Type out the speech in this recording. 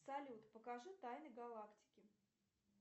салют покажи тайны галактики